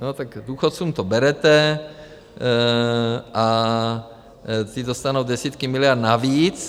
No tak důchodcům to berete a ty dostanou desítky miliard navíc.